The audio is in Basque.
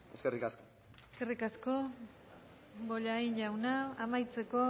eskerrik asko eskerrik asko bollain jauna amaitzeko